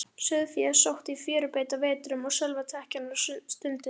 Sauðfé sótti í fjörubeit á vetrum, og sölvatekja var stunduð.